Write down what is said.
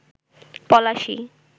Palashi